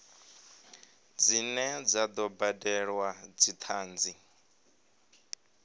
dzine dza do badelwa dzithanzi